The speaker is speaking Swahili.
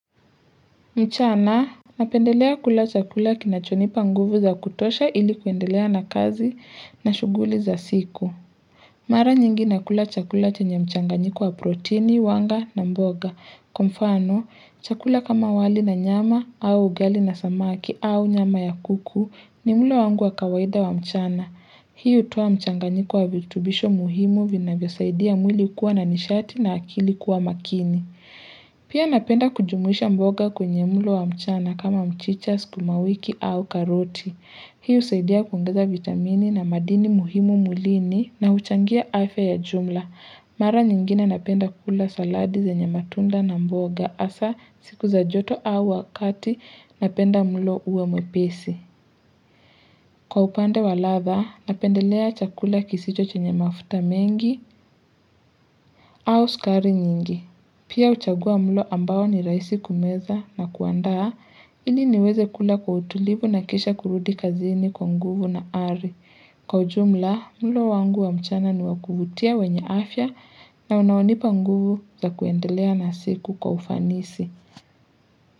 Mchana, napendelea kula chakula kinachonipa nguvu za kutosha ili kuendelea na kazi na shughuli za siku. Mara nyingi nakula chakula chenye mchanganyiko wa proteini, wanga na mboga. Kwa mfano, chakula kama wali na nyama au ugali na samaki au nyama ya kuku ni mlo wangu wa kawaida wa mchana. Hii hutoa mchanganyiko wa virutubisho muhimu vinavyosaidia mwili kuwa na nishati na akili kuwa makini. Pia napenda kujumuisha mboga kwenye mlo wa mchana kama mchicha, skumawiki au karoti. Hii husaidia kuongeza vitamini na madini muhimu mwilini na huchangia afya ya jumla Mara nyingine napenda kula saladi zenye matunda na mboga hasaa siku za joto au wakati napenda mlo uwe mwepesi. Kwa upande wa ladha, napendelea chakula kisicho chenye mafuta mengi au skari nyingi Pia huchagua mlo ambao ni rahisi kumeza na kuandaa ili niweze kula kwa utulivu na kisha kurudi kazini kwa nguvu na ari. Kwa ujumla mlo wangu wa mchana ni wa kuvutia wenye afya na unaonipa nguvu za kuendelea na siku kwa ufanisi.